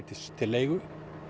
til leigu